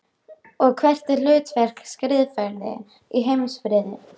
Og hvert er hlutverk skrifræðis í heimsfriði?